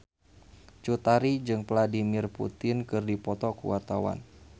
Cut Tari jeung Vladimir Putin keur dipoto ku wartawan